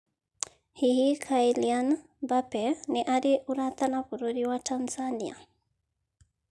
Hihi Kylian Mbappe nĩ arĩ ũrata na bũrũri wa Tanzania?